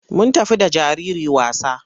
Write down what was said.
Mun tafi da jariri wasa.